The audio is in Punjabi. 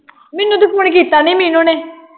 ਮੈਨੂੰ ਤੇ ਫੋਨ ਕੀਤਾ ਨਹੀਂ ਮੀਨੁ ਨੇ